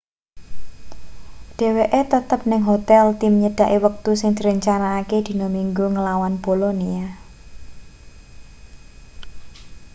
dheweke tetep ning hotel tim nyedhaki wektu sing direncanakake dina minggu nglawan bolonia